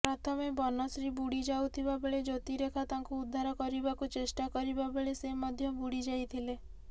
ପ୍ରଥମେ ବନଶ୍ରୀ ବୁଡିଯାଉଥିବାବେଳେ ଜ୍ୟୋତିରେଖା ତାଙ୍କୁ ଉଦ୍ଧାର କରିବାକୁ ଚେଷ୍ଟା କରିବାବେଳେ ସେ ମଧ୍ୟ ବୁଡିଯାଇଥିଲେ